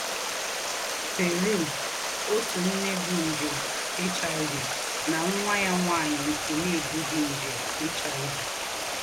PERU — Òtú ǹné bú njè HIV nà nwá yá nwányị nké nà-èbùghí njè HIV.